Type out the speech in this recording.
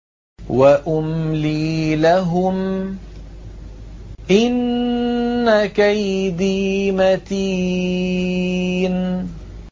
وَأُمْلِي لَهُمْ ۚ إِنَّ كَيْدِي مَتِينٌ